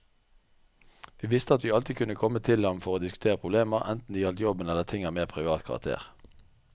Vi visste at vi alltid kunne komme til ham for å diskutere problemer, enten det gjaldt jobben eller ting av mer privat karakter.